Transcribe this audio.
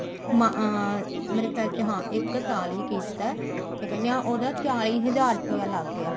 ਮਾ ਮੇਰੇ ਖਿਆਲ ਚ ਹਾਂ ਇੱਕ ਸਾਲ ਹੀ ਕੀਤਾ ਕਿਆ ਕਹਿਨੇ ਹਾਂ ਉਹਦਾ ਚਾਲੀ ਹਜ਼ਾਰ ਰੁਪਿਆ ਲੱਗ ਗਿਆ